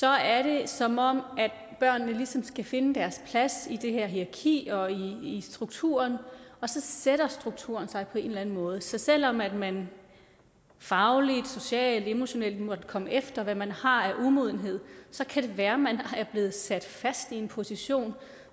er det som om børnene ligesom skal finde deres plads i det her hierarki og i i strukturen og så sætter strukturen sig på en eller anden måde så selv om man man fagligt socialt emotionelt måtte komme efter hvad man har af umodenhed så kan det være man er blevet sat fast i en position